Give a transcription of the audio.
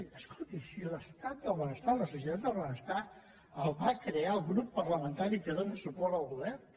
escolti si l’estat del benestar la societat del benestar el va crear el grup parlamentari que dóna suport al govern